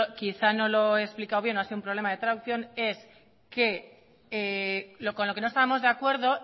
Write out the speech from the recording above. quizá no lo he explicado bien o ha sido un problema de traducción con lo que no estábamos de acuerdo